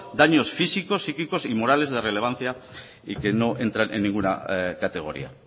daños físicos psíquicos y morales de relevancia y que no entran en ninguna categoría